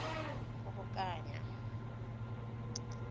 kgobokanya